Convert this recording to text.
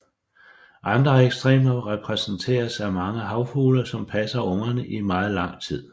Andre ekstremer repræsenteres af mange havfugle som passer ungerne i meget lang tid